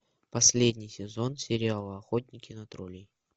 последний сезон сериала охотники на троллей